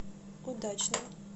удачным